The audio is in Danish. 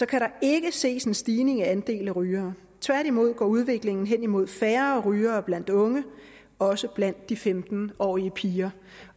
kan der ikke ses en stigning i andelen af rygere tværtimod går udviklingen hen mod færre rygere blandt unge også blandt de femten årige piger